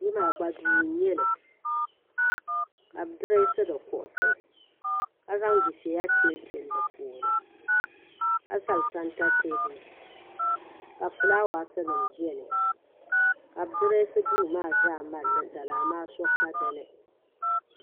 kpɛ maa gba duu n nyɛli ka bi dirɛsi di kuɣusi ka zaŋ dufɛya tilitili di puuni ka zali sɛnta teebuli ka fulaawaasi nim biɛni ka bi dirɛsi duu maa zaa malli zali amaa so ka dinni